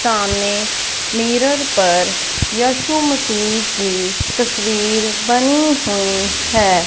सामने मिरर पर यशु मसीह की तस्वीर बनी हुई है।